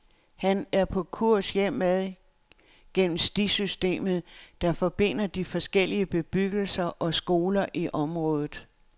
Han er på kurs hjemad gennem stisystemet, der forbinder de forskellige bebyggelser og skoler i området.